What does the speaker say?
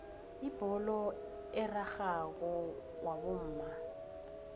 ibholo erarhako wabomma